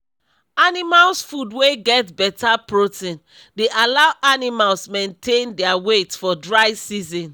animals food wey get better protein dey allow animals maintain dia weight for dry season